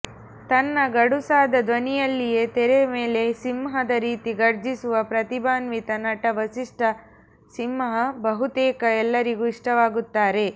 ತನ್ನ ಗಡುಸಾದ ಧ್ವನಿಯಲ್ಲಿಯೇ ತೆರೆ ಮೇಲೆ ಸಿಂಹದ ರೀತಿ ಘರ್ಜಿಸುವ ಪ್ರತಿಭಾನ್ವಿತ ನಟ ವಸಿಷ್ಠ ಸಿಂಹ ಬಹುತೇಕ ಎಲ್ಲರಿಗೂ ಇಷ್ಟವಾಗುತ್ತಾರೆ